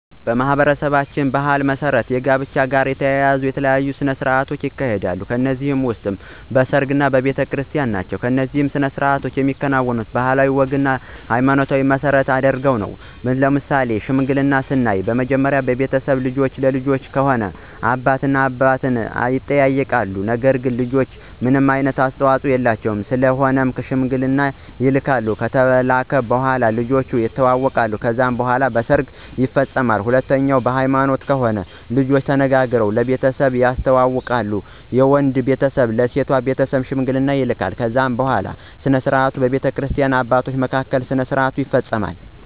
በማኅበረሰባችን ባሕል መሠረት ከጋብቻ ጋር የተያያዙ የተለያዩ ሥነ ሥርዓቶች ይካሄዳሉ ከነዚህም ውስጥ በሰርግ፣ በቤተክርስቲን ናቸው። እነዚህ ሥነ ሥርዓቶች የሚከናወኑት ባህልና ወግንና ሀይማኖትን መሰረት አድርገው ነው። ለምሳሌ ሽምግልናን ስናይ መጀመሪያ በቤተሰብ ልጅህን ለልጀ ከሆነ አባት እና አባት ይጠያይቃሉ ነገር ግን ልጆች ምንም አስተዋፆ የላቸውም ስለሆነም ሽማግሌ ይላካል ከተላከ በኋላ ልጆቹ የተዋወቃሉ ከዛ በኋላ በሰርግ ይፈፀማል። ሁለተኛው በሀይማኖት ከሆነ ልጆችና ተነጋግረው ለቤተሰብ ያስተዋውቃሉ የወንዱ ቤተሰብ ለሴት ቤተሰብ ሽማግሌ ይላካል ከዛ በኋላ ስነስርዓቱ በቤተክርስቲያ አባቶች ምክንያት ስነስርዓቱ ይፈፀማል።